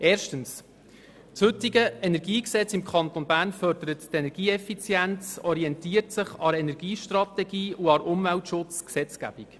Erstens: Das heutige Energiegesetz im Kanton Bern fördert die Energieeffizienz, orientiert sich an der Energiestrategie und an der Umweltschutzgesetzgebung.